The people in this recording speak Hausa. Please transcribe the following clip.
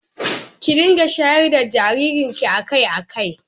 Kin dinga shayar da jaririnki a kai a kai